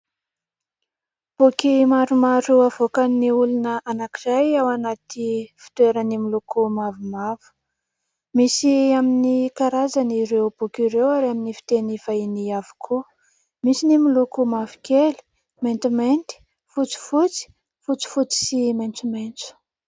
Boky maromaro avoakan'ny olona anankiray ao anaty fitoerany miloko mavomavo. Misy amin'ny karazany ireo boky ireo ary amin'ny fiteny vahiny avokoa. Misy ny miloko mavokely, maintimainty, fotsifotsy, fotsifotsy sy maitsomaitso.